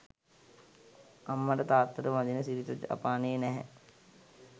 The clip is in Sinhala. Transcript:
අම්මට තාත්තට වදින සිරිත ජපානයේ නැහැ